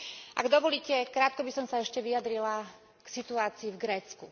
Ak dovolíte, krátko by som sa ešte vyjadrila k situácii v Grécku.